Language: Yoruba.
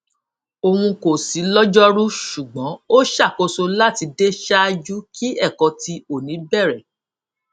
oun ko si lọjọru ṣugbọn o ṣakoso lati de ṣaaju ki ẹkọ ti oni bẹrẹ